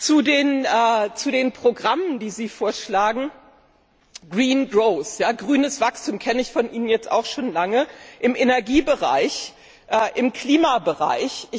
Zu den Programmen, die Sie vorschlagen Green growth grünes Wachstum kenne ich von Ihnen jetzt auch schon lange im Energiebereich, im Klimabereich.